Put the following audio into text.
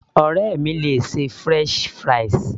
Ọ̀rẹ́ mi le ṣe french fries